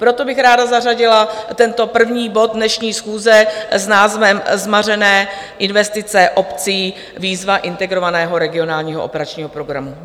Proto bych ráda zařadila tento první bod dnešní schůze s názvem Zmařené investice obcí, výzva Integrovaného regionálního operačního programu.